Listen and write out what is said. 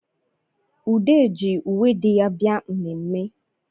Ude ji uwe di ya bịa mmemme